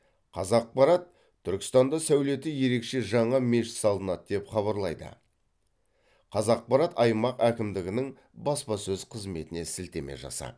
қазақпарат түркістанда сәулеті ерекше жаңа мешіт салынады деп хабарлайды қазақпарат аймақ әкімдігінің баспасөз қызметіне сілтеме жасап